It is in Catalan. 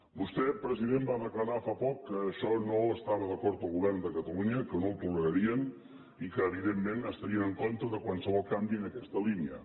vostè president va declarar fa poc que amb això no es·tava d’acord el govern de catalunya que no ho tolera·rien i que evidentment estarien en contra de qualsevol canvi en aquesta línia